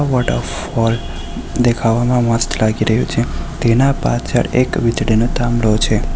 Waterfall દેખાવામાં મસ્ત લાગી રહ્યું છે તેના પાછળ એક વીજળીનો થાંભલો છે.